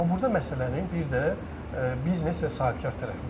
Amma burda məsələnin bir də biznes və sahibkar tərəfi var.